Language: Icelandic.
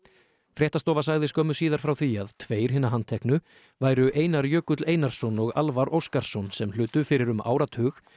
fréttastofa sagði skömmu síðar frá því að tveir hinna handteknu væru Einar Jökull Einarsson og Alvar Óskarsson sem hlutu fyrir um áratug